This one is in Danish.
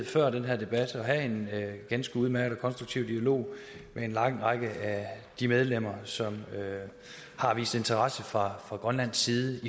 før den her debat at have en ganske udmærket og konstruktiv dialog med en lang række af de medlemmer som har vist interesse fra grønlandsk side